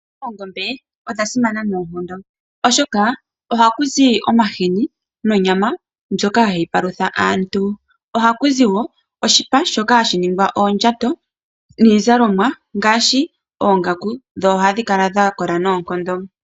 Oongombe odha simana noonkondo, oshoka oha ku zi omahini nonyama, ndjoka ha yi palutha aantu. Oha ku zi wo oshipa, shoka ha shi ningwa oondjato niizalomwa, ngaashi oongaku, dho oha dhi kala dha kola noonkondo.